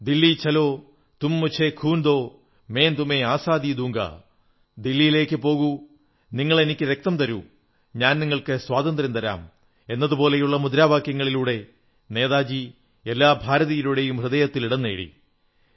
ദില്ലീ ചലോ തും മുഝേ ഖൂൻ ദോ മൈം തുമേം ആസാദീ ദൂംഗാ ദില്ലിയിലേക്കുപോകൂ നിങ്ങളെനിക്കു രക്തം തരൂ ഞാൻ നിങ്ങൾക്ക് സ്വാതന്ത്ര്യം തരാം എന്നതുപോലുള്ള മുദ്രാവാക്യങ്ങളിലൂടെ നേതാജി എല്ലാ ഭാരതീയരുടെയും ഹൃദയത്തിൽ ഇടം നേടി